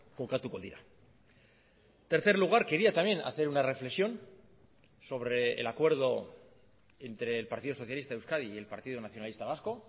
kokatuko dira tercer lugar quería también hacer una reflexión sobre el acuerdo entre el partido socialista de euskadi y el partido nacionalista vasco